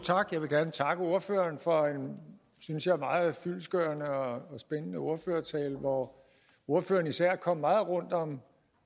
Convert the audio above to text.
tak jeg vil gerne takke ordføreren for en synes jeg meget fyldestgørende og spændende ordførertale hvor ordføreren især kom meget rundt om